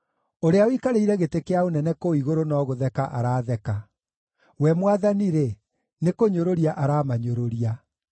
Ũrĩa ũikarĩire gĩtĩ kĩa ũnene kũu igũrũ no gũtheka aratheka; We Mwathani-rĩ, nĩkũnyũrũria aramanyũrũria.